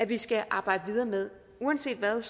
vi skal arbejde videre med uanset hvad